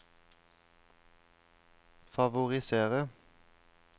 favorisere